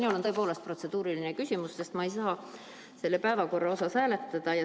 Minul on tõepoolest protseduuriline küsimus, sest ma ei saa selle päevakorra poolt hääletada.